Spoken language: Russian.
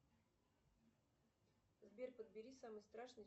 сбер подбери самый страшный